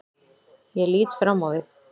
Ég lít fram á við.